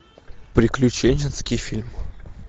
приключенческий фильм